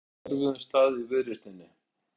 Á erfiðum stað í viðreisninni